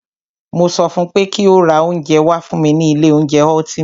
Mo sọ fún pé kí o ra oúnjẹ wá fún mí ní ilé oúnjẹ Ultima!